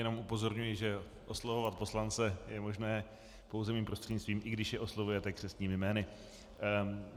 Jenom upozorňuji, že oslovovat poslance je možné pouze mým prostřednictvím, i když je oslovujete křestními jmény.